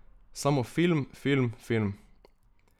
Samo film, film, film.